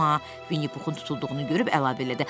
Amma Vinni Puxun tutulduğunu görüb əlavə elədi: